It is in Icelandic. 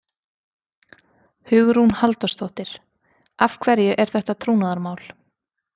Hugrún Halldórsdóttir: Af hverju er þetta trúnaðarmál?